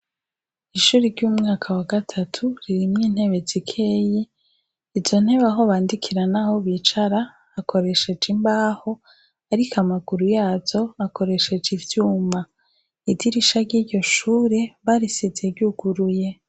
Ishure ry' umwaka wa gatatu ririmwo intebe zikeyi izo ntebe aho bandikira naho bicara hakoreshejwe imbaho ariko amaguru yazo akoresheje vyuma idirisha ry' iryo shure barisize ryuguruye.